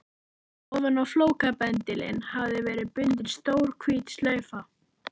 Ofan á flókabendilinn hafði verið bundin stór hvít slaufa.